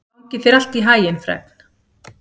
Gangi þér allt í haginn, Fregn.